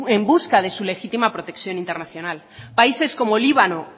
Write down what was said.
en busca de su legítima protección internacional países como líbano